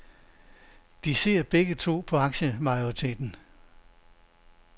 De sidder begge to på aktiemajoriteten.